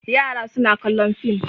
Yara suna kallon fim.